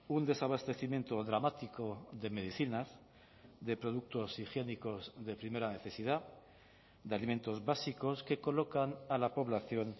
un desabastecimiento dramático de medicinas de productos higiénicos de primera necesidad de alimentos básicos que colocan a la población